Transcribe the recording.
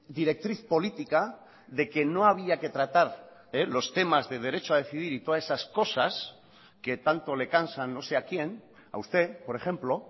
directriz política de que no había que tratar los temas de derecho a decidir y todas esas cosas que tanto le cansan no sé a quién a usted por ejemplo